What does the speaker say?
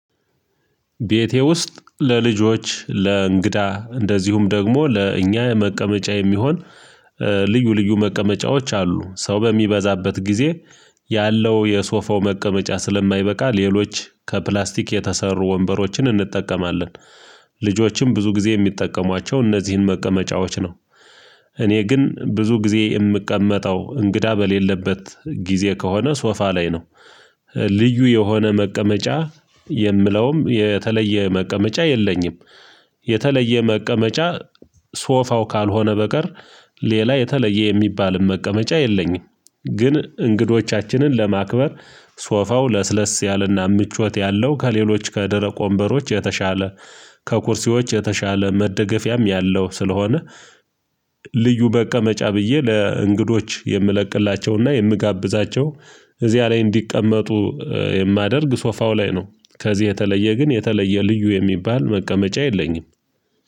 ቤቴ ውስጥ ለልጆች ለእንግዳ እንደዚሁም ደግሞ ለእኛ የመቀመጫ የሚሆን ልዩ ልዩ መቀመጫዎች አሉ ሰው በሚበዛበት ጊዜ ያለው የሶፋው መቀመጫ ስለማይበቃ ሌሎች ከፕላስቲክ የተሰሩ ወንበሮችን እንጠቀማለን ልጆችም ብዙ ጊዜ የሚጠቀሟቸው እነዚህን መቀመጫዎች ነው። እኔ ግን ብዙ ጊዜ የምቀመጠው እንግዳ በሌለበት ጊዜ ከሆነ ሶፋ ላይ ነው። ልዩ የሆነ መቀመጫ የምለውም የተለየ መቀመጫ የለኝም። የተለየ መቀመጫ ሶፋው ካልሆነ በቀር ሌላ የተለየ የሚባልን መቀመጫ የለኝም። ግን እንግዶቻችንን ለማክበር ሶፋው ለስለስ ያለና ምቾት ያለው ከሌሎች ከደረቅ ወምበሮች የተሻለ ከኩርሲዎች የተሻለ መደገፊያም ያለው ስለሆነ ልዩ መቀመጫ ብዬ ለእንግዶች የምለቅላቸውና የምጋብዛቸው እዚያ ላይ እንዲቀመጡ የማደርግ ሶፋው ላይ ነው። ከዚህ የተለየ ግን የተለየ ልዩ የሚባል መቀመጫ የለኝም